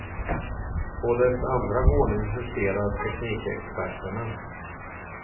På dess andra våning huserar teknikexperterna.